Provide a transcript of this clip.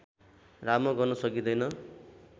राम्रो गर्न सकिँदैन